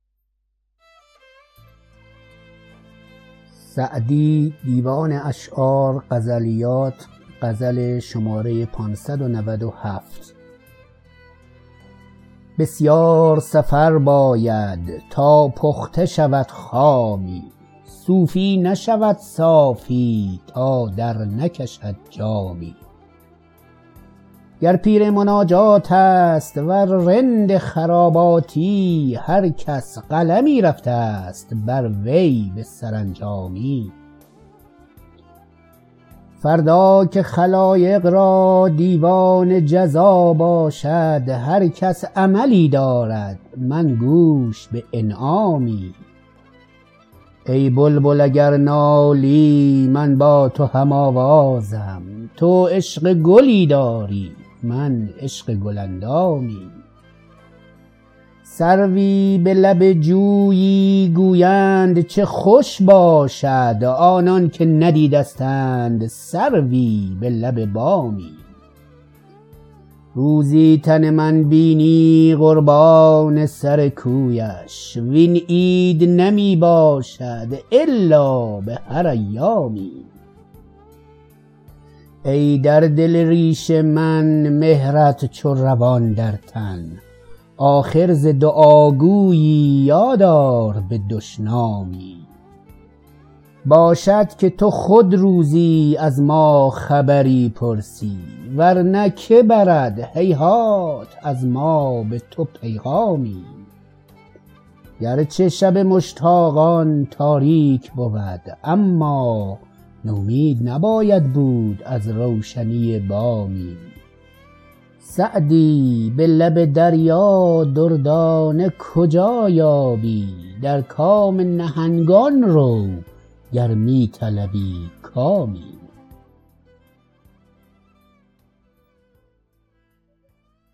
بسیار سفر باید تا پخته شود خامی صوفی نشود صافی تا درنکشد جامی گر پیر مناجات است ور رند خراباتی هر کس قلمی رفته ست بر وی به سرانجامی فردا که خلایق را دیوان جزا باشد هر کس عملی دارد من گوش به انعامی ای بلبل اگر نالی من با تو هم آوازم تو عشق گلی داری من عشق گل اندامی سروی به لب جویی گویند چه خوش باشد آنان که ندیدستند سروی به لب بامی روزی تن من بینی قربان سر کویش وین عید نمی باشد الا به هر ایامی ای در دل ریش من مهرت چو روان در تن آخر ز دعاگویی یاد آر به دشنامی باشد که تو خود روزی از ما خبری پرسی ور نه که برد هیهات از ما به تو پیغامی گر چه شب مشتاقان تاریک بود اما نومید نباید بود از روشنی بامی سعدی به لب دریا دردانه کجا یابی در کام نهنگان رو گر می طلبی کامی